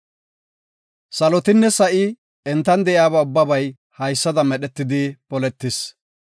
Salotinne sa7i entan de7iyaba ubbabay haysada medhetidi poletis.